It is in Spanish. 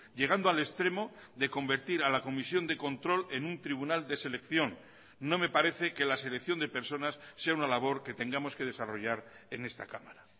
llegando al extremo de convertir a la comisión de control en un tribunal de selección no me parece que la selección de personas sea una labor que tengamos que desarrollar en esta cámara